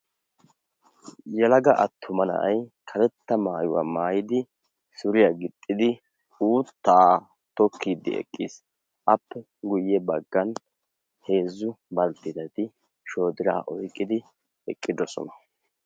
Yelaga attuma na'ay karetta maayuwaa maayidi suriyaa gixxidi uuttaa tokkiiddi eqqiis appe guyye baggan heezzu baldtidati shodiraa oiqqidi eqqidosona.